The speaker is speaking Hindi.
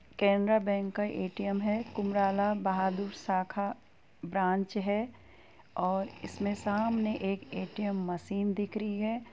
केनरा बैंक का एटीएम है | कुमराला बहादुर शाखा ब्रांच हैं और इसमें सामने एक एटीएम मशीन दिखरी है।